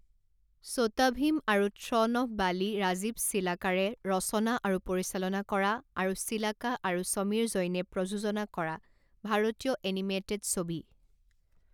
ছোটা ভীম আৰু throne of Bali Rajiv চিলাকাৰে ৰচনা আৰু পৰিচালনা কৰা আৰু চিলাকা আৰু সমীৰ জৈনে প্ৰযোজনা কৰা ভাৰতীয় এনিমেটেড ছবি।